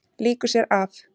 Lýkur sér af.